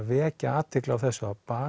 vekja athygli á þessu á